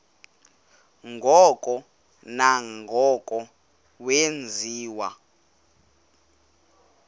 ngoko nangoko wenziwa